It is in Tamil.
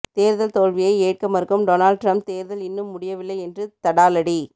தேர்தல் தோல்வியை ஏற்க மறுக்கும் டொனால்ட் ட்ரம்ப் தேர்தல் இன்னும் முடியவில்லை என்று தடாலடி